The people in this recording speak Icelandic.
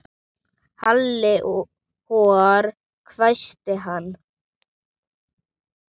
Halli hor hvæsti hann.